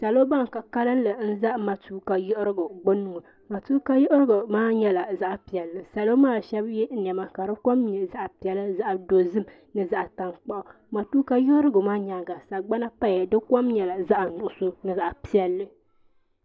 Salo bani ka kanli n za matuuka yiɣirigu gbuni ŋɔ matuuka yiɣirigu maa nyɛla zaɣi piɛlli salo maa shɛba ye nɛma ka di kom nyɛ zaɣi piɛlla zaɣi dozim ni zaɣi taŋkpaɣu matuuka yiɣirigu maa yɛanga sagbana paya di kom nyɛla zaɣi nuɣiso ni zaɣi piɛlli.